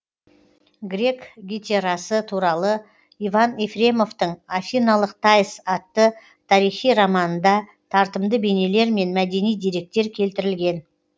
грек гетерасы туралы иван ефремовтың афиналық таис атты тарихи романында тартымды бейнелер мен мәдени деректер келтірілген